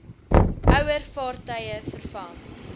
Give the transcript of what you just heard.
ouer vaartuie vervang